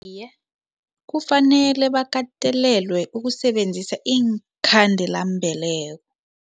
Iye, kufanele bakatelelwe ukusebenzisa iinkhandelambeleko.